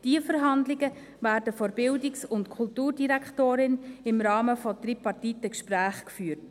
Diese Verhandlungen werden von der BKD im Rahmen von tripartiten Gesprächen geführt.